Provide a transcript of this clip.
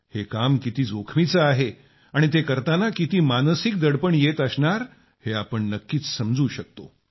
हे काम किती जोखमीचं आहे आणि ते करताना किती मानसिक दडपण येत असणार हे आपण नक्कीच समजू शकतो